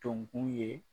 Tun ye